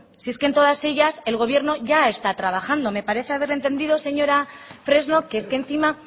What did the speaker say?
si es que en todas ellas el gobierno ya está trabajando me parece haberle entendido señora fresno que es que encima